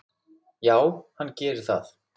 Já, hann gerir það